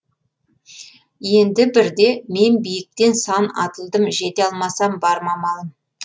енді бірде мен биіктен сан атылдым жете алмасам бар ма амалым